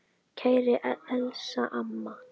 Kæra Elsa amma.